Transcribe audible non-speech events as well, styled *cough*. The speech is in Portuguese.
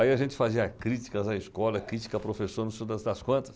Aí a gente fazia críticas à escola, crítica a professor, não *unintelligible* das quantas.